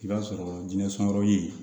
I b'a sɔrɔ jinɛ sɔnyɔrɔ ye